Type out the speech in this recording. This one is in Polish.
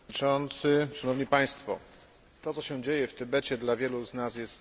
To, co się dzieje w Tybecie dla wielu z nas jest niewyobrażalne.